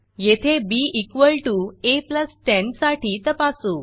येथे ba10 साठी तपासू